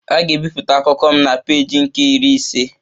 A ga-ebipụta akụkọ m na peeji nke Iri ise